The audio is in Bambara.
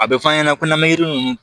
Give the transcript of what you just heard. A bɛ fɔ an ɲɛna ko n'an bɛ yiri ninnu